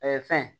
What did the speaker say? fɛn